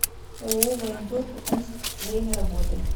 ооо военторг омск время работы